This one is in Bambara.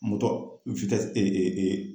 Mɔtɔ e e e.